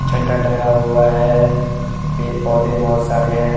झंडा टंगा हुआ है पेड़ पौधे बहुत सारे हैं।